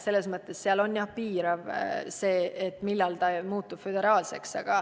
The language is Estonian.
Selles mõttes on jah piiratud see, millal muutub föderaalseks.